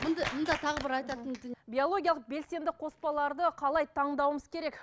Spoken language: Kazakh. мында мында тағы бір айтатын биологиялық белсенді қоспаларды қалай таңдауымыз керек